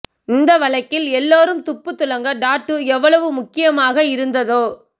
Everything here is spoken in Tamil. இந்த வழக்கில் எல்லோரும் துப்பு துலங்க டாட்டூ எவ்வளவு முக்கியமாக இருந்ததோ